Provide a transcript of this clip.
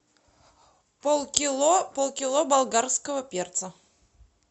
полкило полкило болгарского перца